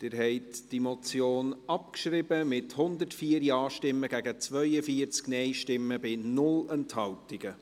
Sie haben die Motion abgeschrieben, mit 104 Ja- gegen 42 Nein-Stimmen bei 0 Enthaltungen.